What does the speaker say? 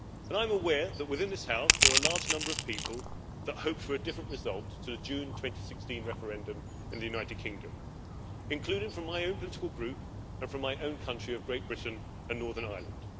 I am aware that within this House there were a large number of people that hoped for a different result to the June 2016 referendum in the United Kingdom, including from my own political group and from my own country of Great Britain and Northern Ireland.